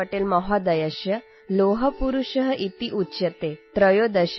शुभकामनाः सन्ति| सरदारवल्लभभाईपटेलमहोदयः 'लौहपुरुषः' इत्युच्यते | २०१३